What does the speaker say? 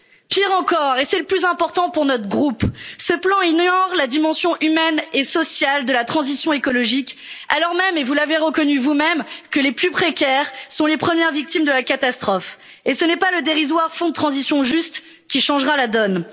Pire encore et c'est le plus important pour notre groupe ce plan ignore la dimension humaine et sociale de la transition écologique, alors même et vous l'avez reconnu vous même que les plus précaires sont les premières victimes de la catastrophe et ce n'est pas le dérisoire fonds de transition juste qui changera la donne.